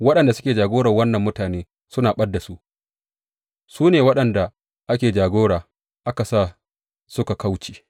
Waɗanda suke jagorar wannan mutane suna ɓad da su, su ne waɗanda ake jagora aka sa suka kauce.